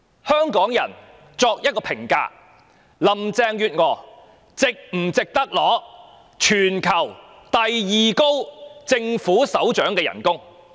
香港人可作一評價，林鄭月娥是否值得收取全球第二高的政府首長薪酬呢？